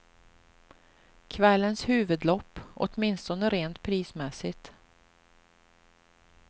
Kvällens huvudlopp, åtminstone rent prismässigt.